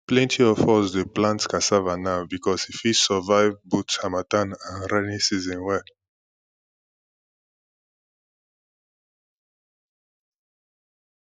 plenty of us dey plant cassava now because e fit survive both harmattan and raining season well